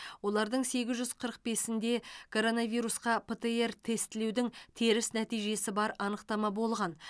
олардың сегіз жүз қырық бесінде коронавирусқа птр тестілеудің теріс нәтижесі бар анықтама болған